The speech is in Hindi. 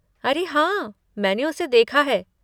अरे हाँ! मैंने उसे देखा है।